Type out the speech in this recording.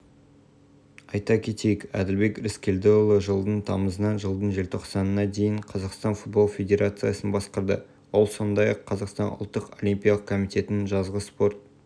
конференция жұмысына мәдениет және спорт министрі арыстанбек мұхамедиұлы федерация президиумының мүшелері аймақтық филиалдар жетекшілері құрама жаттықтырушылары ұлттық олимпиялық комитет өкілдері